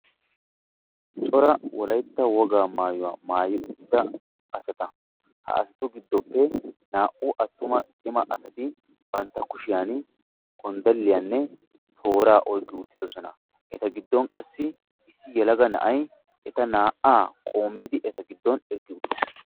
Cora wolaytta wogaa maayuwa maayi uttida asata; ha asatu giddoppe naa'u attuma cima asati bantta kushiyaan gonddalliyanne tooraa oyiqqi uttidosona; eta gidon qassi issi yelaga na'ay eta naa'aa qoommidi eta giddon eqqi uttis.